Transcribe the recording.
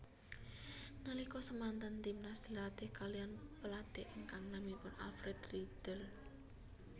Nalika semanten Timnas dilatih kaliyan pelatih ingkang naminipun Alfred Riedl